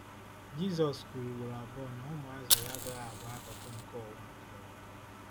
Jizọs kwuru ugboro abụọ na ụmụazụ ya agaghị abụ akụkụ nke ụwa nke ụwa.